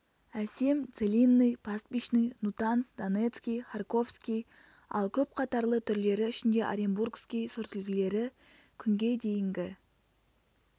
әсем целинный пастбищный нутанс донецкий харьковский ал көп қатарлы түрлері ішінде оренбургский сортүлгілері күнге дейінгі